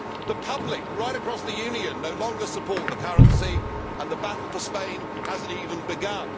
The public right across the Union no longer supports the currency, and the battle for Spain has not even begun.